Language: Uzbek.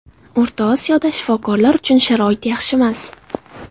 O‘rtasaroyda shifokorlar uchun sharoit yaxshimas.